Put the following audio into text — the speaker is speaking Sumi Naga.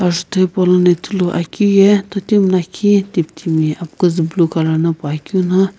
ajutho hepou ye totimi lakhi kitimi apkuzu black colour na poakeu no.